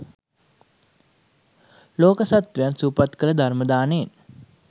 ලෝක සත්ත්වයින් සුවපත් කළේ ධර්ම දානයෙන්.